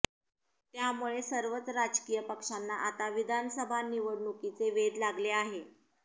त्यामुळे सर्वच राजकीय पक्षांना आता विधानसभा निवडणुकीचे वेध लागले आहे